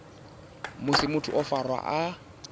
musi muthu o farwa a